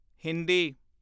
Hindi